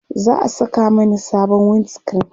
za'a Saka Mani sabon wind screen